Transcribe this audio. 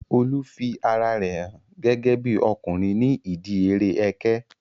Olu fi ara rẹ hàn gẹ́gẹ́bí ọkùnrin ní ìdíi eré ẹkẹ